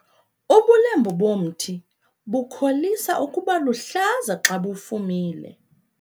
Ubulembu bomthi bukholisa ukuba luhlaza xa bufumile.